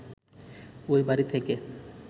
ঐ বাড়ি থেকে